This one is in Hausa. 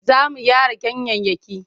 Za mu gyara ganyayyaki.